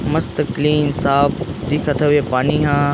मस्त क्लीन साफ़ दिखत हवे पानी ह।